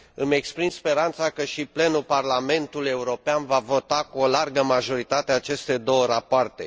Îmi exprim speranța că și plenul Parlamentului European va vota cu o largă majoritate aceste două rapoarte.